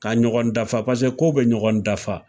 K'a ɲɔgɔn dafa paseke kow be ɲɔgɔn dafa